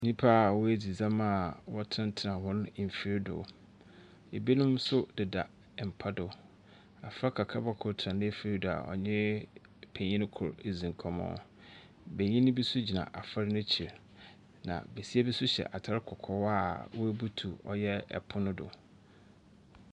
Nyimpa a woedzi dzɛm a wɔtenatena hɔn mfir do. Ɛbino nso deda mpa do. Abofra kakraba kor tsena n'efir do a ɔnye penyin kor redzi nkɔmbɔ. Benyin bi nso gyina abofra n'ekyir, na besua bi nso hyɛ atar kɔkɔɔ a oebutuw ɔyɛ pon do.